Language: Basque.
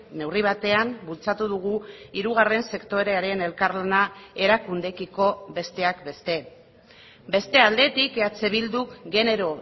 neurri batean bultzatu dugu hirugarren sektorearen elkarlana erakundeekiko besteak beste beste aldetik eh bilduk genero